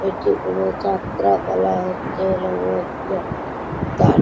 এটি কোন যাত্রাপালা হচ্ছে বলে মনে হচ্ছে। তার--